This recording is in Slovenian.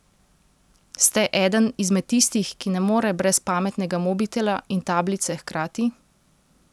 Ste eden izmed tistih, ki ne more brez pametnega mobitela in tablice hkrati?